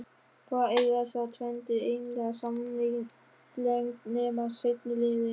Hvað eiga þessar tvenndir eiginlega sameiginlegt nema seinni liðinn?